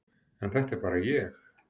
En þetta er bara ég.